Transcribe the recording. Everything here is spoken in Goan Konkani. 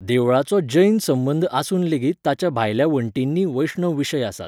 देवळाचो जैन संबंद आसून लेगीत ताच्या भायल्या वण्टींनी वैष्णव विशय आसात.